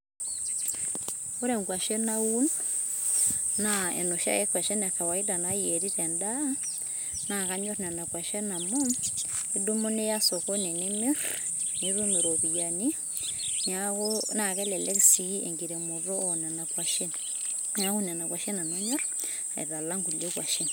ore inkuashen naun, na onoshi ake kwashen e kawaida nayieri tendaa, na kanyorr nena kwashen amu, idumu niya sokoni nimir, nitum iropiani, na kelek si enkiremoto onena kwashen niaku nena kwashen nanu anyorr alang ingulie kwashen.